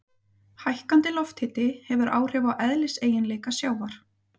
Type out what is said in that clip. Hækkandi lofthiti hefur áhrif á eðliseiginleika sjávar.